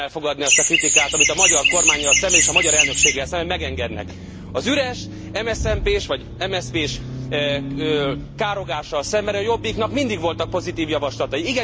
Nem tudom elfogadnia azt a kritikát, amit a magyar kormánnyal szemben és a magyar elnökséggel szemben megengednek. Az üres MSZMP s vagy MSZP s károgással szemben a Jobbiknak mindig voltak pozitív javaslatai.